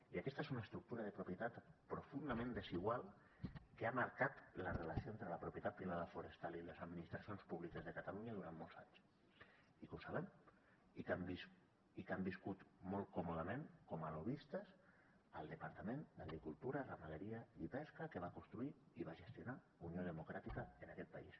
i aquesta és una estructura de propietat profundament desigual que ha marcat la relació entre la propietat privada forestal i les administracions públiques de catalunya durant molts anys i que ho sabem i que han vist i que han viscut molt còmodament com a lobbistes al departament d’agricultura ramaderia i pesca que va construir i va gestionar unió democràtica en aquest país